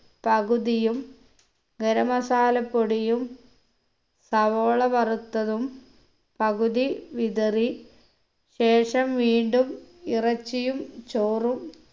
പകുതിയും ഗരം masala പൊടിയും സവോള വറുത്തതും പകുതി വിതറി ശേഷം വീണ്ടും ഇറച്ചിയും ചോറും